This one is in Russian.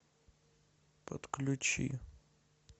подключи